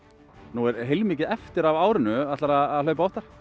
nú er heilmikið eftir af árinu ætlarðu að hlaupa oftar